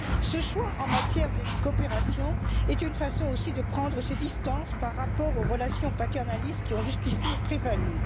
Ce choix en matière de coopération est aussi une façon de prendre ses distances par rapport aux relations paternalistes qui ont jusqu'ici prévalu.